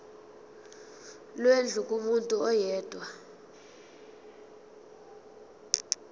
lwendlu kumuntu oyedwa